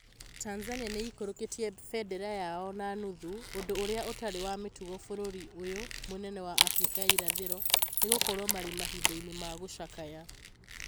Tanzania nĩ ĩikũrũkĩtie bendera yayo na nuthu, ũndũ ũrĩa ũtarĩ wa mũtugo bũrũri ũyũ mũnene wa Afrika ya irathĩro nĩgũkorwo marĩ mahinda-inĩ ma gũcakaya